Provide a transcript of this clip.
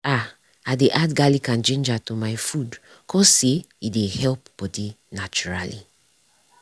ah i dey add garlic and ginger to my food cause say e dey help bodi naturally.